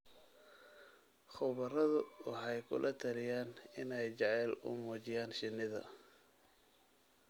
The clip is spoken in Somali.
Khubaradu waxay kula talinayaan inay jacayl u muujiyaan shinnida.